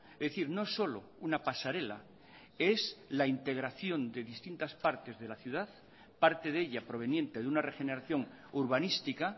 es decir no solo una pasarela es la integración de distintas partes de la ciudad parte de ella proveniente de una regeneración urbanística